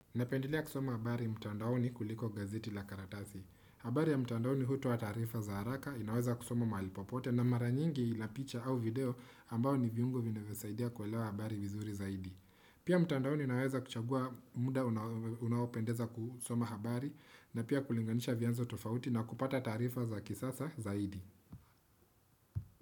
Napendelea kusoma habari mtandaoni kuliko gazeti la karatasi. Habari ya mtandaoni hutoa taarifa za haraka inaweza kusoma mahali popote na mara nyingi ina picha au video ambao ni viungo vinavyosaidia kuelewa habari vizuri zaidi. Pia mtandaoni unaweza kuchagua muda unaopendeza kusoma habari na pia kulinganisha vyanzo tofauti na kupata taarifa za kisasa zaidi.